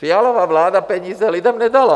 Fialova vláda peníze lidem nedala.